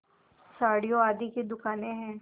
साड़ियों आदि की दुकानें हैं